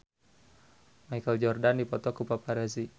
Michael Jordan dipoto ku paparazi